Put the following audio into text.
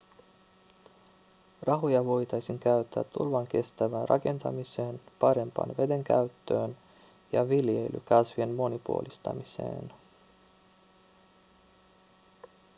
rahoja voitaisiin käyttää tulvankestävään rakentamiseen parempaan vedenkäyttöön ja viljelykasvien monipuolistamiseen